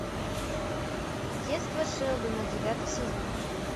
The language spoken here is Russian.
детство шелдона девятый сезон